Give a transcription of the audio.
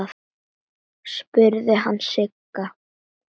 spurði hann Sigga.